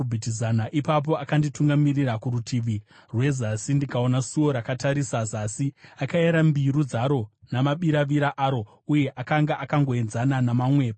Ipapo akanditungamirira kurutivi rwezasi ndikaona suo rakatarisa zasi. Akayera mbiru dzaro namabiravira aro, uye akanga akangoenzana namamwe pakuyera.